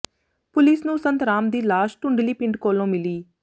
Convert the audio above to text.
police ਨੂੰ ਸੰਤ ਰਾਮ ਦੀ ਲਾਸ਼ ਟੁੰਡਲੀ ਪਿੰਡ ਕੋਲੋਂ ਮਿਲੀ